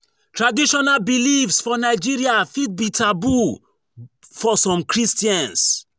Traditional beliefs for Nigeria fit be taboo for some christians